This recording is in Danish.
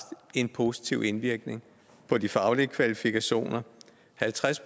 en positiv indvirkning på de faglige kvalifikationer halvtreds